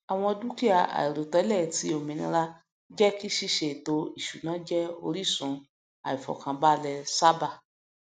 àwọn dukia àìròtẹlẹ ti òmìnira jẹ kí ṣíṣe ètò ìṣúná jẹ orísun àìfọkànbalẹ sábà